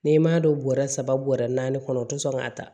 N'i m'a don bɔrɛ saba bɔrɛ naani kɔnɔ u tɛ sɔn k'a ta